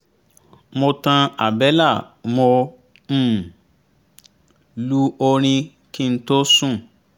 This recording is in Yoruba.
mo tan àbẹ́là mo um lu orin kí n tó sùn